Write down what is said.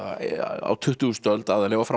á tuttugustu öld aðallega og fram á